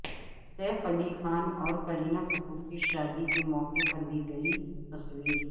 safe Ali Khan اور کرینہ کپور کی شادی کے موقع پر لی گئی تصویر